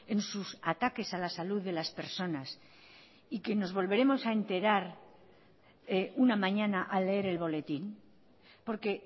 en sus ataques a la salud de las personas y que nos volveremos a enterar una mañana al leer el boletín porque